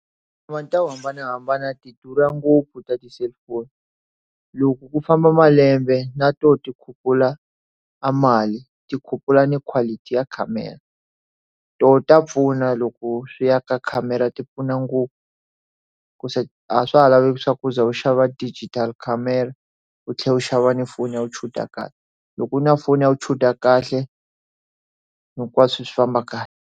To hambanahambana ti durha ngopfu ta ti cellphone loko ku famba malembe na to ti khuphula a mali tikhuphula na quality ya camera toho ta pfuna loko swi ya ka camera ti pfuna ngopfu ku se a swa ha laveki swakuza u xava digital camera u tlhela u xava ni foni ya u chuda kahle loko u na foni ya u chuda kahle hinkwaswo swi famba kahle.